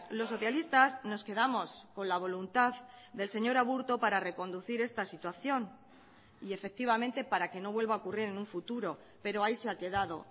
los socialistas nos quedamos con la voluntad del señor aburto para reconducir esta situación y efectivamente para que no vuelva a ocurrir en un futuro pero ahí se ha quedado